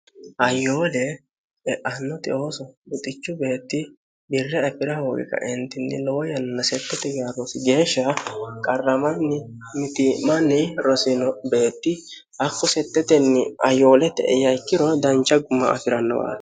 ayoole e'annote ooso buxichu beetti birra efi'ra hooqikaentinni lowo yanna settt yros geeshsha qarramanni miti'manni rosino beetti hakku settetenni ayoolete e yaikkiro dancha guma afi'rannowaata